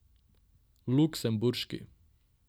Luksemburški.